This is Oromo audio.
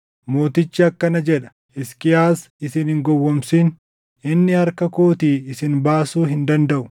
Mootichi akkana jedha: Hisqiyaas isin hin gowwoomsin. Inni harka kootii isin baasuu hin dandaʼu.